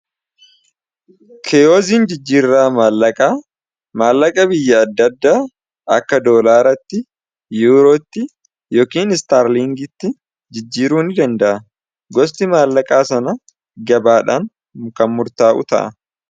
keeyoziin jijjiirraa maallaqaa maallaqa biyya addaadda akka doolaaratti yuurootti yookiin istaarliingitti jijjiiruun dandaa gosti maallaqaa sana gabaadhaan kammurtaa'u ta'a